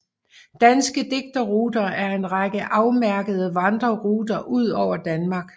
Danske Digterruter er en række afmærkede vandreruter ud over Danmark